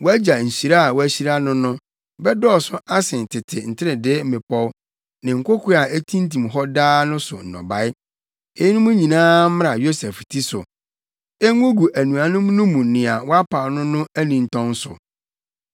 Wʼagya nhyira a wɔahyira no no bɛdɔɔso asen tete nteredee mmepɔw ne nkoko a etintim hɔ daa no so nnɔbae. Eyinom nyinaa mmra Yosef ti so, engugu anuanom no mu nea wɔapaw no no anintɔn so.